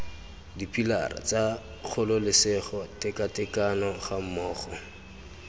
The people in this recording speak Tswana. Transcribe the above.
dipilara tsa kgololesego tekatekano gammogo